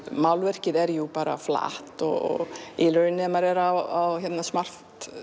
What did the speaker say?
málverkið er jú bara flatt og í raun ef maður er á smart